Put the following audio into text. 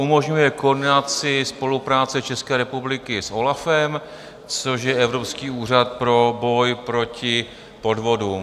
Umožňuje koordinaci, spolupráci České republiky s OLAFem, což je Evropský úřad pro boj proti podvodům.